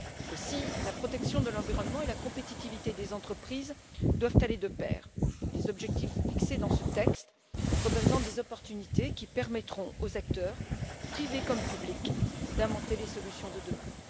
Aussi, la protection de l'environnement et la compétitivité des entreprises doivent aller de pair et les objectifs fixés dans ce texte ouvrent des perspectives qui permettront aux acteurs privés comme publics d'inventer les solutions de demain.